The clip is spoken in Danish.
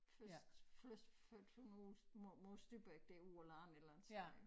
Først først flyttede hun ud mod mod Stubbæk derude på æ land et eller andet sted